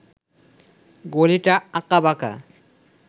গলিটা আঁকাবাঁকা